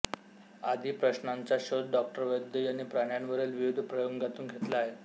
आदी प्रश्नांचा शोध डॉ वैद्य यांनी प्राण्यांवरील विविध प्रयोगांतून घेतला आहे